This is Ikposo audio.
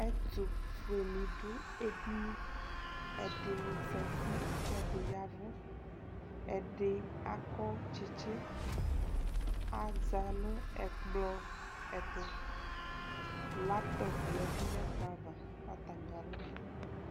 ɛtʋƒʋɛ nidʋ ɛdini, ɛdini zati kʋ ɛdini yavʋ, ɛdi akɔ tsitsi, azanʋ ɛkplɔ ɛtʋ, laptop yɛdʋ nʋɛkplɔ aɣa